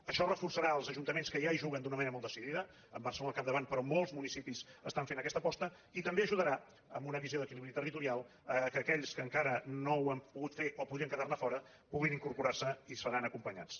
això reforçarà els ajuntaments que ja hi juguen d’una manera molt decidida amb barcelona al capdavant però molts municipis fan aquesta aposta i també ajudarà amb una visió d’equilibri territorial perquè aquells que encara no ho han pogut fer o podien quedar ne fora puguin incorporar s’hi i seran acompanyats